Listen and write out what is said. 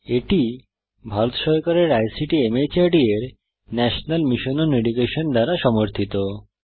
এটি ভারত সরকারের ICT MHRD এর ন্যাশনাল মিশন ওন এডুকেশন দ্বারা সমর্থিত